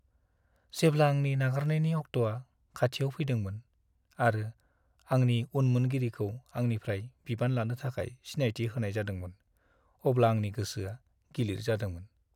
जेब्ला आंनि नागारनायनि अक्ट'आ खाथियाव फैदोंमोन आरो आंनि उनमोनगिरिखौ आंनिफ्राय बिबान लानो थाखाय सिनायथि होनाय जादोंमोन अब्ला आंनि गोसोआ गिलिर जादोंमोन।